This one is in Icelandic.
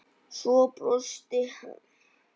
Svo brosti hann.